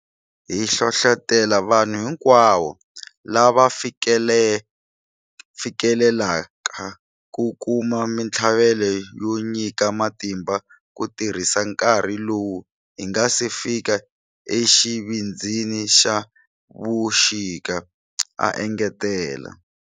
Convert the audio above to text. Hi hlohlotela vanhu hinkwavo lava fikelelaka ku kuma mitlhavelo yo nyika matimba ku tirhisa nkarhi lowu hi nga se fika exivindzini xa vuxika, a engetela.